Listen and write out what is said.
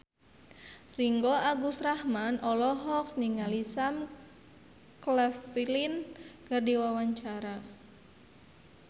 Ringgo Agus Rahman olohok ningali Sam Claflin keur diwawancara